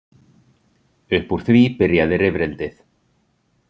Upp úr því byrjaði rifrildið.